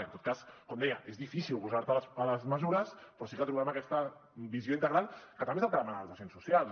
en tot cas com deia és difícil oposar te a les mesures però sí que trobem aquesta visió integral que també és el que demanen els agents socials